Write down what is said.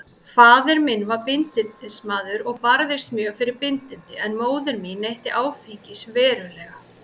Faðir minn var bindindismaður og barðist mjög fyrir bindindi, en móðir mín neytti áfengis verulega.